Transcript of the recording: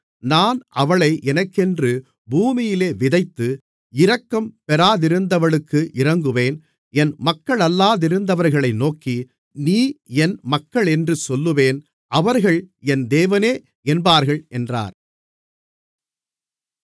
நான் அவளை எனக்கென்று பூமியிலே விதைத்து இரக்கம் பெறாதிருந்தவளுக்கு இரங்குவேன் என் மக்களல்லாதிருந்தவர்களை நோக்கி நீ என் மக்களென்று சொல்லுவேன் அவர்கள் என் தேவனே என்பார்கள் என்றார்